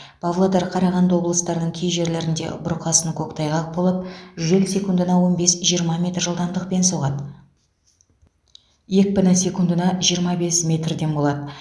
павлодар қарағанды облыстарының кей жерлерінде бұрқасын көктайғақ болып жел секундына он бес жиырма метр жылдамдықпен соғады екпіні секундыеа жиырма бес метрден болады